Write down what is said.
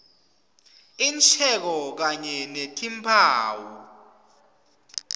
insheko kanye netimphawu